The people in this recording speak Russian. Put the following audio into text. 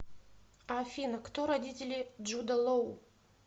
афина кто родители джуда лоу